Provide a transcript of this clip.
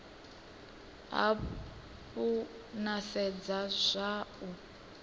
hafhu na sedza zwa u